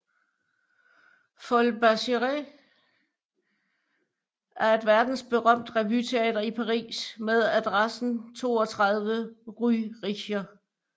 Folies Bergère er et verdensberømt revyteater i Paris med adressen 32 Rue Richer